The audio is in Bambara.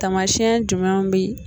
Tamasiyɛn jumɛnw bɛ